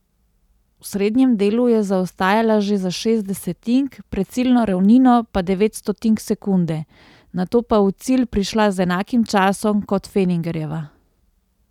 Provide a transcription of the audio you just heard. V srednjem delu je zaostajala že za šest desetink, pred ciljno ravnino pa devet stotink sekunde, nato pa v cilj prišla z enakim časom kot Fenningerjeva.